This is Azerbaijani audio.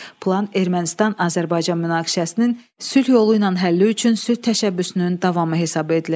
Plan Ermənistan-Azərbaycan münaqişəsinin sülh yolu ilə həlli üçün sülh təşəbbüsünün davamı hesab edilir.